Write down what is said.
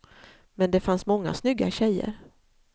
Men det fanns många snygga tjejer.